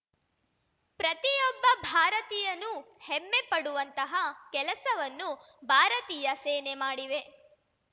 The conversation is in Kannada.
ಪ್ರತಿಯೊಬ್ಬ ಭಾರತೀಯನೂ ಹೆಮ್ಮೆಪಡುವಂತಹ ಕೆಲಸವನ್ನು ಭಾರತೀಯ ಸೇನೆ ಮಾಡಿವೆ